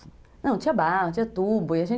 Não, não tinha barro, não tinha tubo.